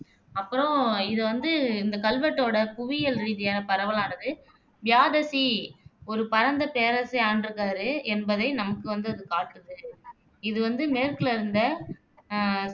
அப்பறம் இது வந்து இந்த கல்வெட்டோட புவியியல் ரீதியா பரவலானது பியாதசி ஒரு பரந்த பேரரசை ஆண்டுருக்காரு என்பதை நமக்கு வந்து அது காட்டுது. இது வந்து மேற்குல இருந்த அஹ்